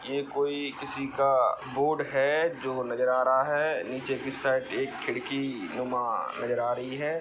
ये कोई किसी का बोर्ड हे जो नजर आ रहा है नीचे की साइड एक खिड़कि नुमा नजर आ रही है।